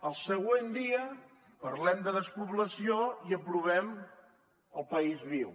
el següent dia parlem de despoblació i aprovem el país viu